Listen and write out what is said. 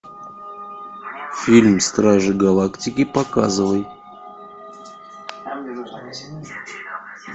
фильм стражи галактики показывай